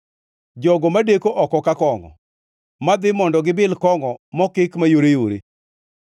Jogo madeko oko ka kongʼo, madhi mondo gibil kongʼo mokik mayoreyore.